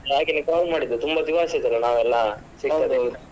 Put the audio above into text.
ಹಾಗೇನೇ call ಮಾಡಿದ್ದು ತುಂಬಾ ದಿವಸ ಆಯ್ತಲ್ಲ ನಾವೆಲ್ಲ .